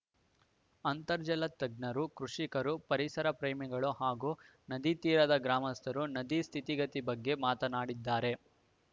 ಅಂತರ್ಜಲ ತಜ್ಞರು ಕೃಷಿಕರು ಪರಿಸರ ಪ್ರೇಮಿಗಳು ಹಾಗೂ ನದಿತೀರದ ಗ್ರಾಮಸ್ಥರು ನದಿಯ ಸ್ಥಿತಿಗತಿ ಬಗ್ಗೆ ಮಾತನಾಡಿದ್ದಾರೆ